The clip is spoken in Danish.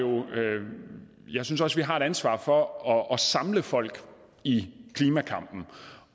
ansvar for at samle folk i klimakampen